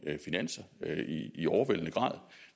finanser i overvældende grad